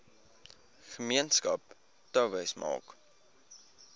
gemeenskap touwys maak